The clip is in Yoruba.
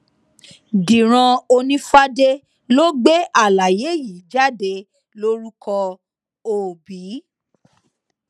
dírán onífàdé ló gbé àlàyé yìí jáde lórúkọ òbí